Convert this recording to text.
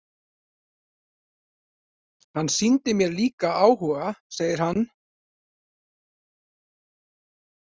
Hann sýndi mér líka áhuga, segir hann.